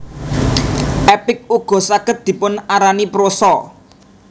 Epik ugo saged dipun arani prosa